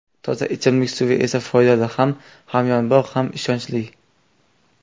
Toza ichimlik suvi esa foydali, ham hamyonbop, ham ishonchli.